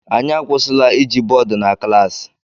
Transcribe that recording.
Anyị akwụsịla iji bọọdụ na klaasị